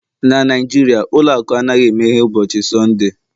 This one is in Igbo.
na Naijiria ụlọ akụ anaghị emeghe ụbọchị Sọnde